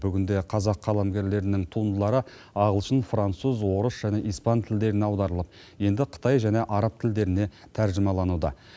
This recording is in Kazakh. бүгінде қазақ қаламгерлерінің туындылары ағылшын француз орыс және испан тілдеріне аударылып енді қытай және араб тілдеріне тәржімалануда